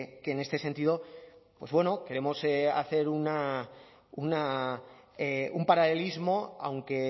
que en este sentido pues bueno queremos hacer un paralelismo aunque